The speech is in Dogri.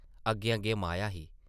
अग्गें-अग्गें माया ही ।